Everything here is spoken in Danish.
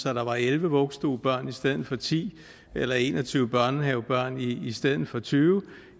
at der var elleve vuggestuebørn i stedet for ti eller en og tyve børnehavebørn i stedet for tyve